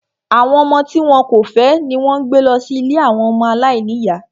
Àwọn ọmọ tí wọn kò fẹ́ ni wón ń gbé lọ sí ilée ọmọ aláìníyá